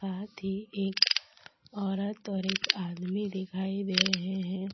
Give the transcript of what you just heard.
सात ही एक औरत और एक आदमी दिखाई दे रहे हैं |